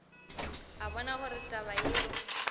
a bona gore taba yeo